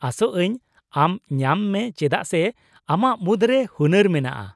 -ᱟᱥᱚᱜ ᱟᱹᱧ ᱟᱢ ᱧᱟᱢ ᱢᱮ ᱪᱮᱫᱟᱜ ᱥᱮ ᱟᱢᱟᱜ ᱢᱩᱫᱨᱮ ᱦᱩᱱᱟᱹᱨ ᱢᱮᱱᱟᱜᱼᱟ ᱾